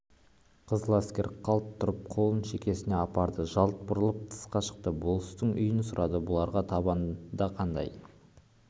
қызыләскер қалт тұрып қолын шекесіне апарды жалт бұрылып тысқа шықты болыстың үйін сұрады бұларға табанда қандай